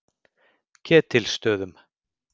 Ketilsstöðum